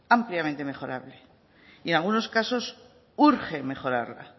ampliamente mejorable y en algunos casos urge mejorarla